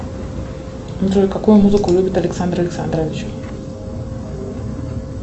джой какую музыку любит александр александрович